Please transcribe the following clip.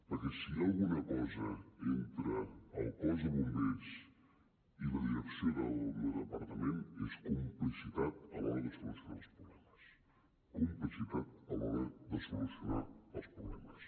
perquè si hi ha alguna cosa entre el cos de bombers i la direcció del meu departament és complicitat a l’hora de solucionar els problemes complicitat a l’hora de solucionar els problemes